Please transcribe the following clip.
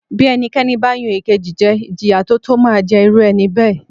Bí ẹnikẹ́ni ba yan ekeji jẹ Ìjìyà tó tó máa ń jẹ irú ẹni bẹ́ẹ̀